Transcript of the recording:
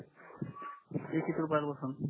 ते किती रुपयात असाल